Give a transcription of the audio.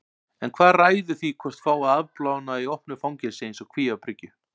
En hvað ræður því hvort fái að afplána í opnu fangelsi eins og Kvíabryggju?